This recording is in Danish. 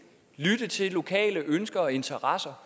lytte til lokale ønsker og interesser